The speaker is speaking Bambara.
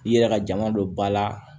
I yɛrɛ ka jama don ba la